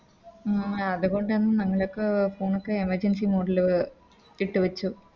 ഉം അതുകൊണ്ടാണ് ഞങ്ങളൊക്കെ Phone ഒക്കെ Emergency mode ല് ഇട്ട് വെച്ചു